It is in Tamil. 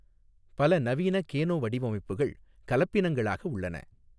பல நவீன கேனோ வடிவமைப்புகள் கலப்பினங்களாக உள்ளன.